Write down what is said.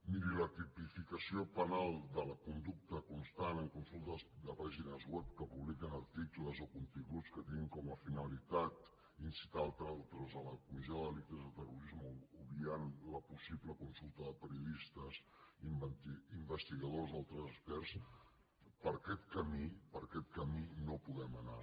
miri la tipificació penal de la conducta constant en consultes de pàgines web que publiquen articles o continguts que tinguin com a finalitat incitar altres a la comissió de delictes de terrorisme obviant la possible consulta de periodistes investigadors o altres experts per aquest camí per aquest camí no podem anar